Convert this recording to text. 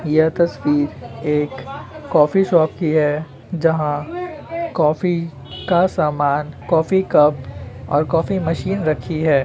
यह तस्वीर एक कॉफ़ी शॉप की है। जहाँ कॉफी का सामान कॉफ़ी कप और कॉफ़ी मशीन रखी है।